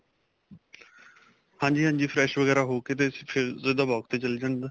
ਹਾਂਜੀ ਹਾਂਜੀ fresh ਵਗੈਰਾ ਹੋਕੇ ਤੇ ਫ਼ੇਰ ਸਿੱਧਾ walk ਤੇ ਚਲਾ ਜਾਂਦਾ